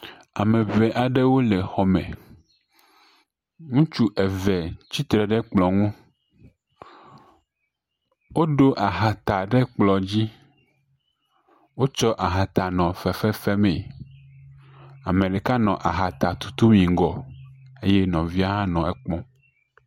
Ame eve aɖewo le xɔme. Ŋutsu eve tsitre ɖe kplɔ̃ ŋu. Woɖa ahata ɖe kplɔ̃ dzi. Wotso ahata nɔ fefefem. Ame ɖeka nɔ ahata tutum yi ŋgɔ eye nɔvia nɔ ekpɔm.